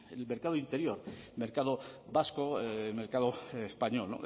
en el mercado interior mercado vasco mercado español